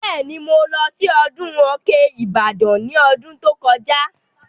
Bẹ́ẹ̀ni, mo lọ sí ọdún Òkè Ìbàdàn ní ọdún tó kọjá